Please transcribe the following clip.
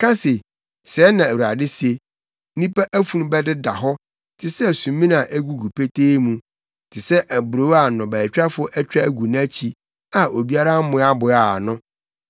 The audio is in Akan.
Ka se, “Sɛɛ Na Awurade se, “ ‘Nnipa afunu bɛdeda hɔ te sɛ sumina a egugu petee mu, te sɛ aburow a nnɔbaetwafo atwa agu nʼakyi a obiara mmoaboaa ano.’ ”